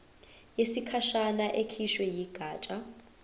yesikhashana ekhishwe yigatsha